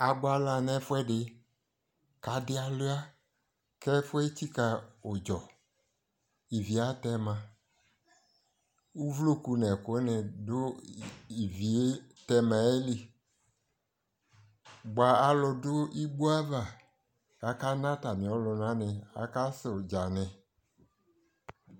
abʋala nʋ ɛƒʋɛdi kʋ adi awlia kʋ ɛƒʋɛ ɛtsika ʋdzɔ, ivi atɛma, ʋvlɔkʋ nʋ ɛkʋ ni dʋ iviɛ tɛmaɛ ɛli bʋa alʋ dʋ iwɔaɣa kʋ aka na atami ɔlʋna ni, ɔsʋ ʋdza ni